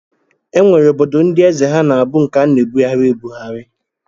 E nwere obodo ndị eze ha na-abụ nke a na-ebugharị ebughari